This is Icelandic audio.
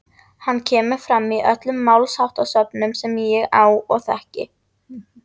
hann kemur fram í öllum málsháttasöfnum sem ég á og þekki